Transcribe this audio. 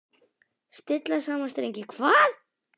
Stilla saman strengi hvað?